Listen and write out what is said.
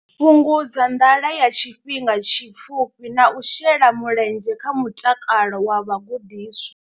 Fhungudza nḓala ya tshifhinga tshipfufhi na u shela mulenzhe kha mutakalo wa vhagudiswa.